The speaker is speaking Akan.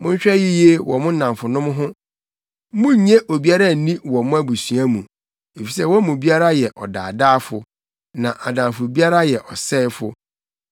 “Monhwɛ yiye wɔ mo nnamfonom ho; munnye obiara nni wɔ mo abusua mu. Efisɛ wɔn mu biara yɛ ɔdaadaafo, na adamfo biara yɛ ɔsɛefo.